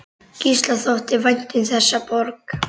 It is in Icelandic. Gísla þótti vænt um þessa borg.